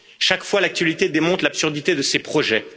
Chaque fois, l'actualité démontre l'absurdité de ces projets.